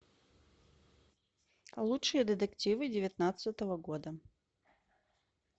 лучшие детективы девятнадцатого года